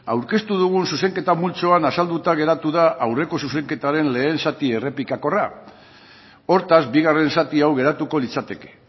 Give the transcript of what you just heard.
aurkeztu dugun zuzenketa multzoan azalduta geratu da aurreko zuzenketaren lehen zati errepikakorra hortaz bigarren zati hau geratuko litzateke